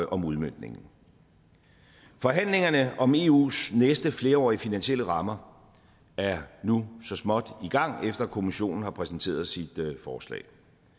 om udmøntningen forhandlingerne om eus næste flerårige finansielle rammer er nu så småt i gang efter at kommissionen har præsenteret sit forslag